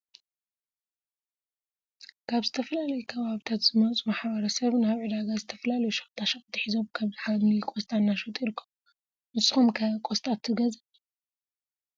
ካብ ዝተፈላለዮ ከባብታት ዝመፁ ማሕበረሰብ ናብ ዕደጋ ዝተፈላለዮ ሸቀጣ ሸቀጥ ሒዞም ከም ሐምሊ ቆሰጣ እናሸጡ ይርከቡ ። ንሰኩም ከ ቆሰጣ ትገዝእ?